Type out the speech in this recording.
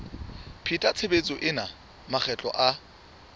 pheta tshebetso ena makgetlo a